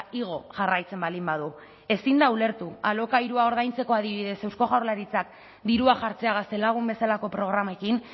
igo jarraitzen baldin badu ezin da ulertu alokairua ordaintzeko adibidez eusko jaurlaritzak dirua jartzea gaztelagun bezalako programekin